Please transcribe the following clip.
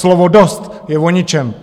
Slovo "dost" je o ničem.